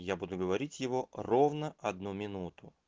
я буду говорить его ровно одну минуту